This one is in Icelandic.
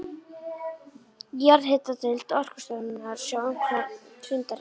Jarðhitadeild Orkustofnunar sá um framkvæmd fundarins.